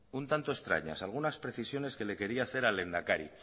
un tanto extrañas algunas precisiones que le quería hacer al lehendakari